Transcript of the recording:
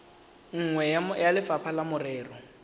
nngwe ya lefapha la merero